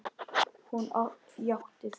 Hún játti því.